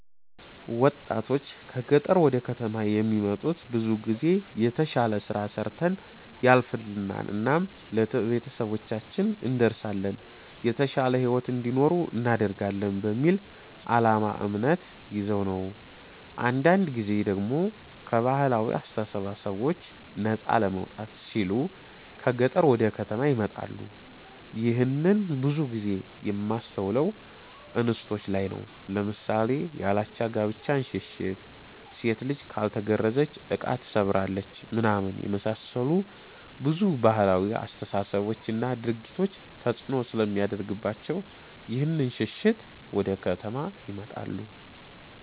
ወጣቶች ከ ገጠር ወደ ከተማ የሚመጡት ብዙ ጊዜ የተሽለ ስራ ሰርተን ያልፍልናል እናም ለቤተሰባችን እንደርሳለን የተሻለ ሂዎት እንዲኖሩ እናደርጋለን በሚል አላማ እምነት ይዘው ነው ነው። አንዳንድ ጊዜ ደሞ ከ ባህላዊ አስተሳሰቦች ነፃ ለመውጣት ሲሉ ከ ገጠር ወደ ከተማ ይመጣሉ ይህንን ብዙ ጊዜ የማስተውለው እንስቶች ላይ ነው ለምሳሌ ያላቻ ጋብቻን ሽሽት፣ ሴት ልጅ ካልተገረዘች እቃ ትሰብራለች ምናምን የመሳሰሉ ብዙ ባህላዊ አስተሳሰቦች እና ድርጊቶች ተፅእኖ ስለሚያደርግባቸው ይህንን ሽሽት ወደ ከተማ ይመጣሉ።